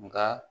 Nka